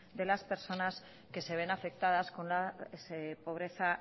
de las personas que se ven afectadas con la pobreza